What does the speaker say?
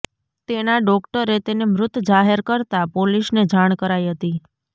તેના ડોકટરે તેને મૃત જાહેર કરતાં પોલીસને જાણ કરાઇ હતી